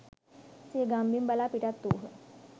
සිය ගම්බිම් බලා පිටත් වූහ